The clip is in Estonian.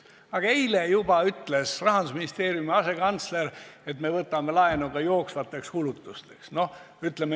Aga eile juba ütles Rahandusministeeriumi asekantsler, et me võtame laenu ka jooksvateks kulutusteks.